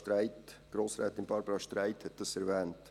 Grossrätin Barbara Streit hat das erwähnt.